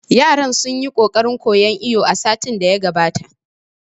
Yaran sun yi ƙoƙarin koyan iwo satin da ya gabata